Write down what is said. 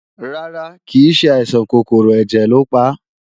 Rárá, kìí ṣe àìsàn kòkòrò ẹ̀jẹ̀ lo pa